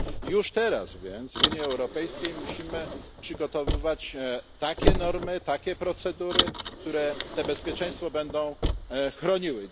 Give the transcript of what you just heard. Już teraz więc w Unii Europejskiej musimy przygotowywać takie normy, takie procedury, które to bezpieczeństwo będą chroniły.